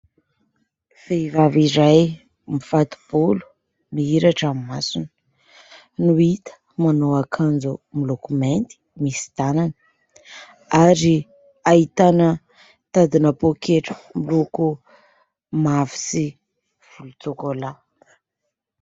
Vehivavy iray mifato-bolo mihiratra ny masony no hita manao akanjo miloko mainty misy tanany ary ahitana tadi-na poketra miloko mavo sy volontsôkôla.